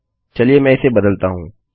चलिए मैं इसे बदलता हूँ